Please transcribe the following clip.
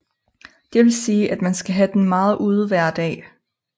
Det vil sige at man skal have den meget ude hver dag